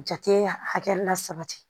Jate hakɛ la sabati